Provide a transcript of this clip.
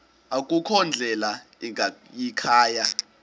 akukho ndlela ingayikhaya